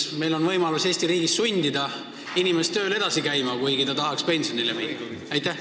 Kas meil on võimalik Eesti riigis sundida inimest tööl edasi käima, kuigi ta tahaks pensionile minna?